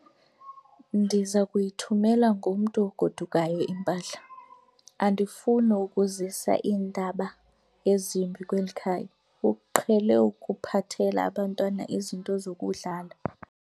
Ndiza kuyithumela ngomntu ogodukayo impahla. andifuni ukuzisa iindaba ezimbi kweli khaya, uqhele ukuphathela abantwana izinto zokudlala